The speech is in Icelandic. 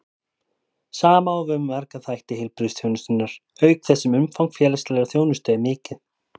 Sama á við um marga þætti heilbrigðisþjónustunnar, auk þess sem umfang félagslegrar þjónustu er mikið.